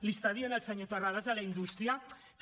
li està dient el senyor terrades a la indústria que